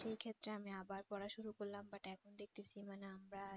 সেক্ষেত্রে আমি আবার পড়া শুরু করলাম but এখন দেখতেছি মানে আমরা